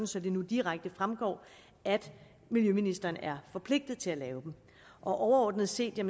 så det nu direkte fremgår at miljøministeren er forpligtet til at lave dem overordnet set er